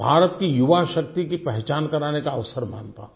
भारत की युवा शक्ति की पहचान कराने का अवसर मानता हूँ